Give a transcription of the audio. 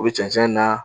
U bɛ cɛncɛn na